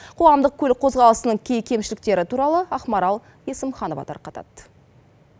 қоғамдық көлік қозғалысының кей кемшіліктері туралы ақмарал есімханова тарқатады